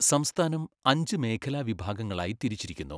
സംസ്ഥാനം അഞ്ച് മേഖലാ വിഭാഗങ്ങളായി തിരിച്ചിരിക്കുന്നു.